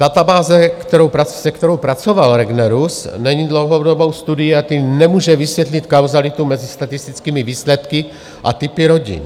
Databáze, se kterou pracoval Regnerus, není dlouhodobou studií, a tím nemůže vysvětlit kauzalitu mezi statistickými výsledky a typy rodin.